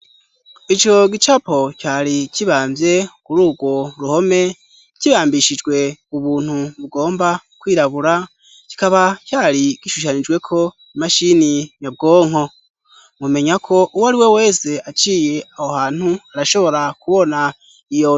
Ico gicapo cari kibamvye kuri ugwo ruhome kibambishijwe ubuntu bugomba kwirabura kikaba cari kishushanijweko imashini nyabwonko mumenya ko uwo ari we wese aciye aho hantu arashobora kubona iyo.